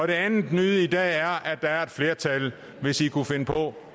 det andet nye i dag er at være et flertal hvis i kunne finde på